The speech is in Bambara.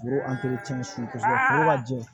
Foro subajan